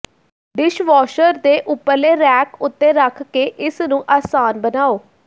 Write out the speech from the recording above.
dishwasher ਦੇ ਉੱਪਰਲੇ rack ਉੱਤੇ ਰੱਖ ਕੇ ਇਸਨੂੰ ਆਸਾਨ ਬਣਾਉ